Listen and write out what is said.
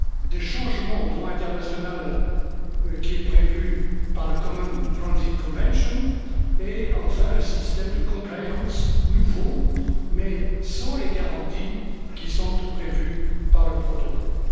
des changements au droit international qui est prévu par la common transit Convention et enfin un système de compliance nouveau mais sans les garanties qui sont prévues par le protocole.